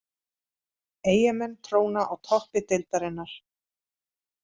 Eyjamenn tróna á toppi deildarinnar